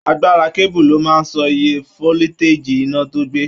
Agbára keebu lo máa n sọ ìyè foliteji iná tó gbé.